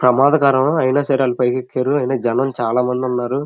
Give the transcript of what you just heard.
ప్రమాదకరం అయిన సరే అని వాళ్ళు పైనికి ఎక్కారు అయిన జనం చాలా మంది ఉన్నారు.